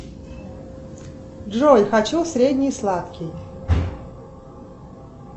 джой хочу средний сладкий